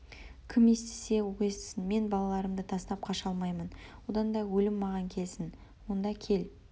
кім естісе ол естісін мен балаларымды тастап қаша алмаймын одан да өлім маған келсін онда кел